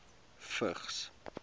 vigs